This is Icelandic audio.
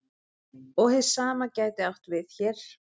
Og hið sama gæti átt við hér.